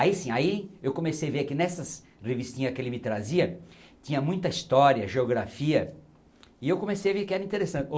Aí sim, aí eu comecei a ver que nessas revistinhas que ele me trazia, tinha muita história, geografia, e eu comecei a ver que era interessante.